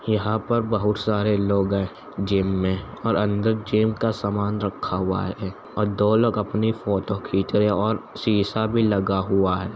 यहाँ पर बहोत सारे लोग हैं जिम में और अंदर जिम का समान रखा हुआ है और दो लोग अपनी फोटो खीच रहे हैं और शीशा भी लगा हुआ है ।